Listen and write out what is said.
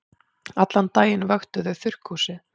Allan daginn vöktuðu þau þurrkhúsið.